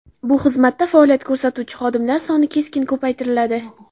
Bu xizmatda faoliyat ko‘rsatuvchi xodimlar soni keskin ko‘paytiriladi.